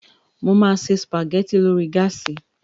Mo máa se sùpàgẹ́ti lórí gáàsì